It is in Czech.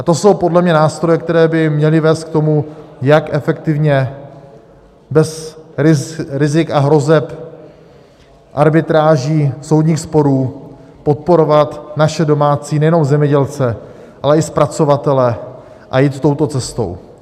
A to jsou podle mě nástroje, které by měly vést k tomu, jak efektivně, bez rizika a hrozeb arbitráží, soudních sporů, podporovat naše domácí nejenom zemědělce, ale i zpracovatele, a jít touto cestou.